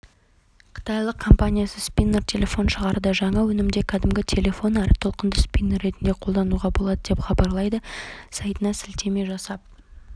қытайлық компаниясы спиннер телефон шығарды жаңа өнімді кәдімгі телефон әрі толыққанды спиннер ретінде қолдануға болады деп хабарлайды сайтына сілтеме жасап